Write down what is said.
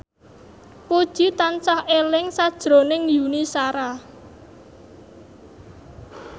Puji tansah eling sakjroning Yuni Shara